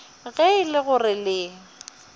ge e le gore le